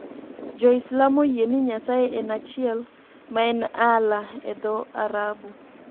Jo-Islam oyie ni Nyasaye en achiel, ma en Allah e dho Arabu.